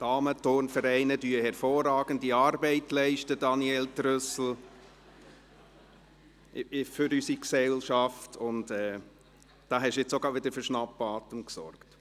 Damenturnvereine leisten hervorragende Arbeit für unsere Gesellschaft, Daniel Trüssel, und da haben Sie jetzt auch gerade wieder für Schnappatmung gesorgt.